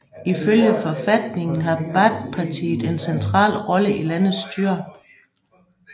Ifølge forfatningen har Baathpartiet en central rolle i landets styre